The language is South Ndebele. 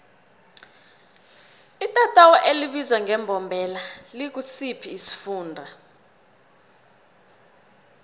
itatawu elibizwa ngembombela likusiphi isifunda